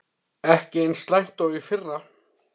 Ekki eins slæmt og í fyrra